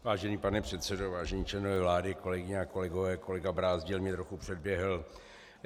Vážený pane předsedo, vážení členové vlády, kolegyně a kolegové, kolega Brázdil mě trochu předběhl.